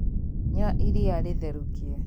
Nyua iria itherũkie